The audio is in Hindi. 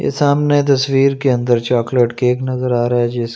ये सामने तस्वीर के अंदर चोकोलेट केक नज़र आ रहा है जिस--